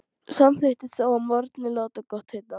Samþykkti þó að morgni að láta gott heita.